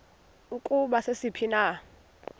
ukuba sisiphi na